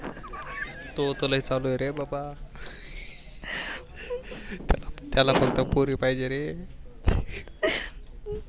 तोत लई चालू आहे रे बाबा. त्याला फक्त पोरी पाहिजेरे.